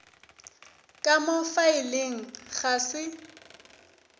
ka mo faeleng ga se